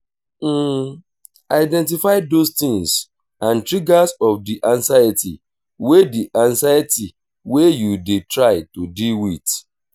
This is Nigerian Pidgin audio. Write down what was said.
identify those things and triggers of di anxiety wey di anxiety wey you dey try to deal with